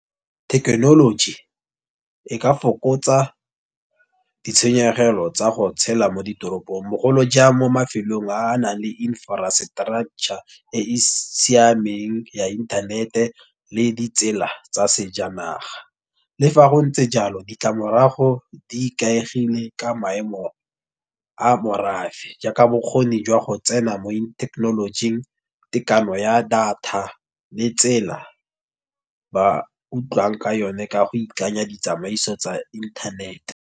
Thekenoloji, e ka fokotsa ditshenyegelo tsa go tshela mo ditoropong bogolo jang mo mafelong a a nang le infrastructure, e e siameng ya internet, le ditsela tsa sejanaga. Le fa go ntse jalo ditlamorago di ikaegile ka maemo a morafe. Jaaka bokgoni jwa go tsena mo in thekenolojing tekano ya data le tsela ba utlwang ka yone ka go ikanya ditsamaiso tsa inthanete.